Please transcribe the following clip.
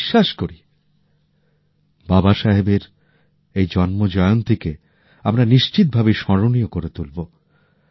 আমি বিশ্বাস করি বাবা সাহেবের এই জন্মজয়ন্তীকে আমরা নিশ্চিত ভাবেই স্মরণীয় করে তুলবো